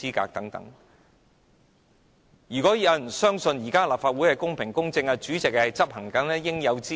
我相信沒有人會愚蠢地相信現時的立法會公平公正，以及主席執行應有之義。